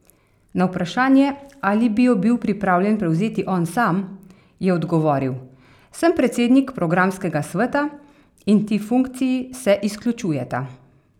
Na vprašanje, ali bi jo bil pripravljen prevzeti on sam, je odgovoril: 'Sem predsednik programskega sveta in ti funkciji se izključujeta.